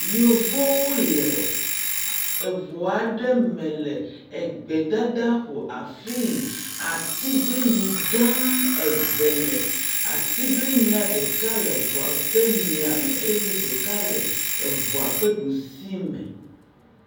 Yevowo le eŋua aɖe me le egbedadaƒo afii atiglinyi gã eve le. Atiglinyia le ŋua ƒe mia me eye ɖeka le eŋua ƒe ɖusi me.